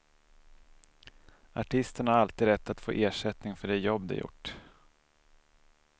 Artisterna har alltid rätt att få ersättning för det jobb de gjort.